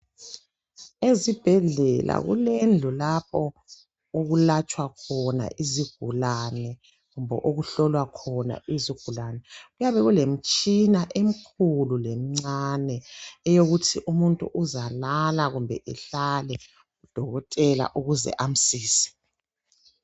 Ezibhedlela kulendlu lapho okulatshwa khona izigulane kumbe okuhlolwa khona izigulane. Kuyabe kulemitshina emkhulu lemncane eyokuthi umuntu uzalala kumbe ehlale udokotela ukuze amsize.